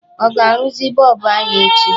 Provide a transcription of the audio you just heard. Ọ ga-arụzi bọlbụ anyị echi?